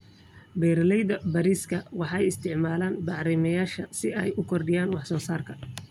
Beeralayda bariiska waxay isticmaalaan bacrimiyeyaasha si ay u kordhiyaan wax soo saarka.